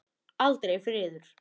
Aldrei friður.